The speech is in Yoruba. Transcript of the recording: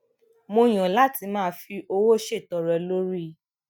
mo yàn láti máa fi owó ṣètọrẹ lórí